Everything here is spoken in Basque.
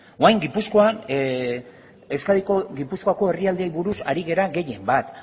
orain gipuzkoan euskadiko gipuzkoako herrialdeei buruz ari gara gehien bat